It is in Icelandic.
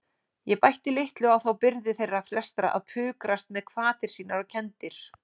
Ég bætti litlu á þá byrði þeirra flestra að pukrast með hvatir sínar og kenndir.